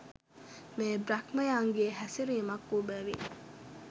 මෙය බ්‍රහ්මයන්ගේ හැසිරීමක් වූ බැවින්